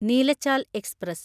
Neelachal express